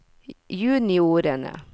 juniorene